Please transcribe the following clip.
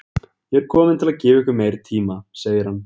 Ég er kominn til að gefa ykkur meiri tíma, segir hann.